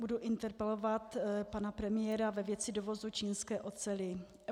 Budu interpelovat pana premiéra ve věci dovozu čínské oceli.